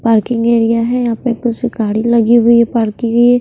parking area है यहां पे कुछ गाड़ी लगी हुई है पार्किंग ये--